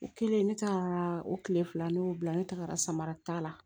O kɛlen ne taga o tile fila ne y'o bila ne tagara samara ta la